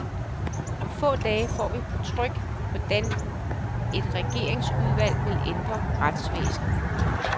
Om få dage får vi på tryk, hvordan et regeringsudvalg vil ændre retsvæsenet.